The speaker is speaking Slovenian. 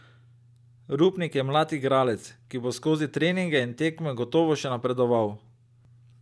Rupnik je mlad igralec, ki bo skozi treninge in tekme gotovo še napredoval.